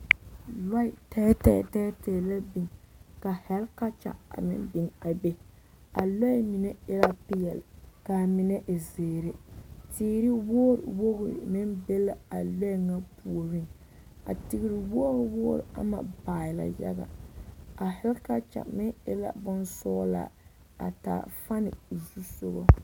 Lɔɛ tɛɛtɛɛ tɛɛtɛɛ la biŋ ka hɛlekɔpekya a biŋ a be a lɔɛ mine e la peɛle k'a mine e zeere, teere wogiri wogiri meŋ be la a lɔɛ ŋa puoriŋ, a teere wogiri wogiri am baaɛ la yaga, a hɛlekɔpekya meŋ e la bonsɔgelaa a taa fane o zu sogɔ.